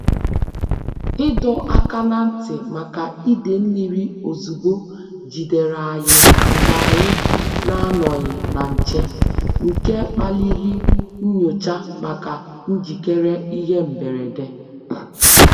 Ìdọ́ áká nà ntị́ màkà ìdè mmírí òzùgbò jìdèrè ànyị́ mgbè ànyị́ nà-ànọ́ghị́ nà nchè, nké kpálírí nyòchá màkà njíkéré ìhè mbèrèdè.